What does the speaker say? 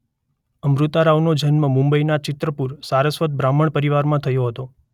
અમૃતા રાવનો જન્મ મુંબઇના ચિત્રપુર સારસ્વત બ્રાહ્મણ પરિવારમાં થયો હતો.